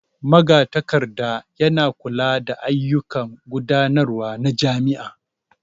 Magatakarda yana kula da ayyukan gudanarwa na jami'a.